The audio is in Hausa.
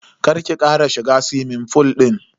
Kar ki kara shiga suwimin fool din.